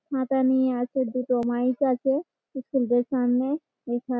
ছাতা নিয়ে আছে দুটো মাইক আছে স্কুলটার সামনে।